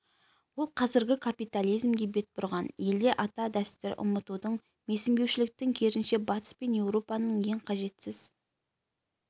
ол қазіргі капитализмге бет бұрған елде ата дәстүрді ұмытудың менсінбеушіліктің керісінше батыс пен еуропаның ең қажетсіз